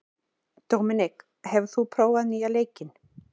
Dominik, hefur þú prófað nýja leikinn?